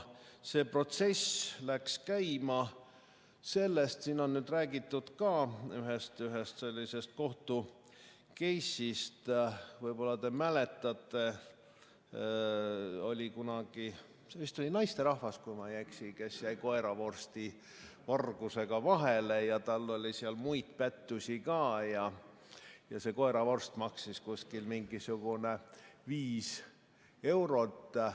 See protsess läks käima sellest – siin on räägitud ka ühest sellisest kohtukeisist, võib-olla te mäletate –, et oli kunagi üks naisterahvas, kui ma ei eksi, kes jäi koeravorsti vargusega vahele – ta oli ka muid pättusi teinud –, see koeravorst maksis umbes viis eurot.